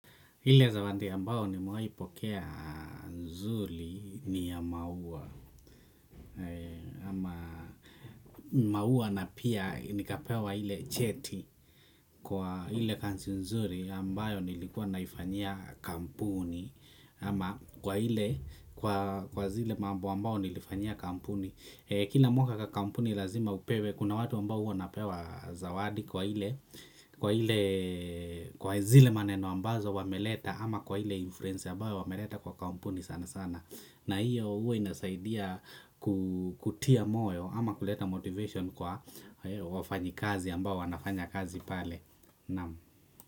Ile zawadi ambayo nimewaipokea nzuri ni ya maua ama maua na pia nikapewa ile cheti kwa ile kazi nzuri ambayo nilikuwa naifanyia kampuni ama kwa ile kwa zile mambo ambao nilifanyia kampuni kila mwaka kwa kampuni lazima upewe, kuna watu ambao huwa napewa zawadi kwa ile, kwa ile kwa zile maneno ambazo wameleta ama kwa ile influence ambayo wameleta kwa kampuni sana sana na hiyo huwa inasaidia kutia moyo ama kuleta motivation kwa wafanyikazi ambao wanafanya kazi pale. Naam.